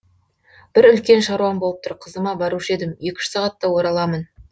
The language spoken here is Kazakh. бір үлкен шаруам болып тұр қызыма барушы едім екі үш сағатта ораламын